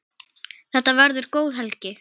Þetta verður góð helgi.